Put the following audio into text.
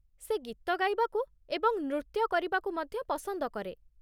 ସେ ଗୀତ ଗାଇବାକୁ ଏବଂ ନୃତ୍ୟ କରିବାକୁ ମଧ୍ୟ ପସନ୍ଦ କରେ।